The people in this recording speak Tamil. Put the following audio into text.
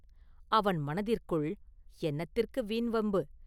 அவன் மனதிற்குள், “என்னத்திற்கு வீண் வம்பு?